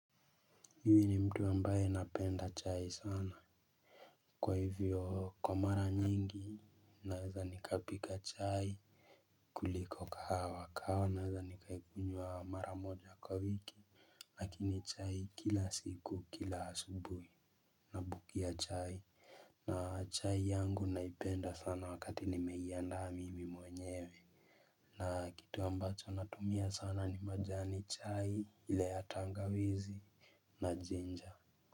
Mimi ni mtu ambaye napenda chai sana kwa hivyo kwa mara nyingi naweza nikapika chai. Kuliko kahawa kahawa naweza nikaikunywa mara moja kwa wiki. Lakini chai kila siku kila asubuhi na bukia chai. Na chai yangu naipenda sana wakati nimeiandaa mimi mwenyewe. Na kitu ambacho natumia sana ni majani chai ile ya tangawizi na jinja.